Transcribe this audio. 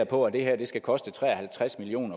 på at det her skal koste tre og halvtreds million